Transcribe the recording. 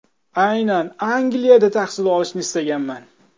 Aynan Angliyada tahsil olishni istaganman.